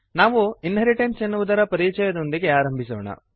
ನಾವು ಇನ್ಹೆರಿಟೆನ್ಸ್ ಎನ್ನುವುದರ ಪರಿಚಯದೊಂದಿಗೆ ಆರಂಭಿಸೋಣ